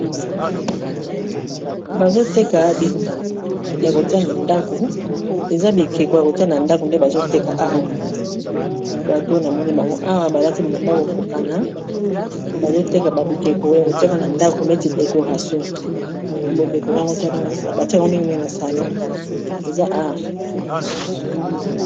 Bazoteka bikeko ya kotia na ndako, eza bikeko ya kotia na ndako nde bazoteka awa bato namoni bango awa balati bilamba ekokana bazoteka ba bikeko neti décoration batiaka yango mingi na salon eza art.